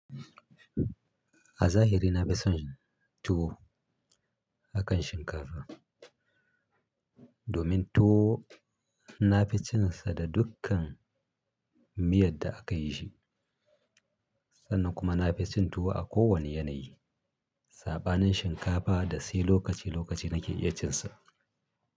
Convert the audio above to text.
A zahiri na fi son tuwo akan shinkafa domin tuwo na fi cin sa da dukkan miyar da aka yi shi. Sannan kuma na fi cin tuwo a kowane yanayi, saɓanin shinkafa da sai lokaci lokaci na ke iya cin sa.